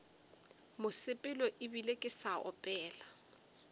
mosepelo ebile ke sa opela